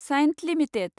Cyient limited